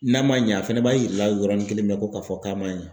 N'a ma ɲɛ a fɛnɛ b'a yira o yɔrɔnin kelen bɛɛ ko k'a fɔ k'a ma ɲɛ.